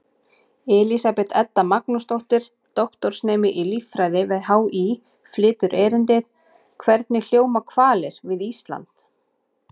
Elísabet Edda Magnúsdóttir, doktorsnemi í líffræði við HÍ, flytur erindið: Hvernig hljóma hvalir við Ísland?